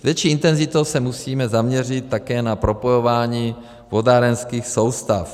S větší intenzitou se musíme zaměřit také na propojování vodárenských soustav.